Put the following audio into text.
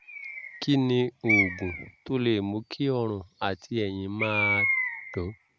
kí ni oògùn tó lè mú kí ọrùn àti ẹ̀yìn máa dùn?